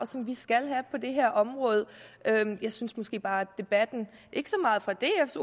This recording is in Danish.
og som vi skal have på det her område jeg synes måske bare at debatten ikke så meget fra dfs